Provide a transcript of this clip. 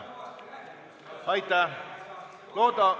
Aitäh!